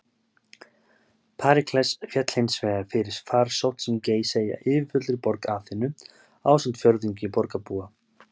Períkles féll hins vegar fyrir farsótt sem geisaði í yfirfullri borg Aþenu, ásamt fjórðungi borgarbúa.